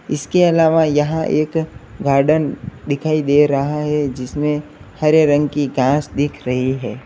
इसके अलावा जहां एक गार्डन दिखाई दे रहा है जिसमें हरे रंग की घास दिख रही है।